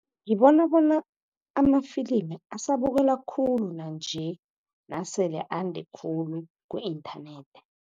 Ngibona bona amafilimi asabukelwa khulu nanje, nasele ande khulu ku-inthanethi.